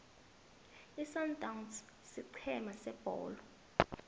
isundowns sigcema sebholo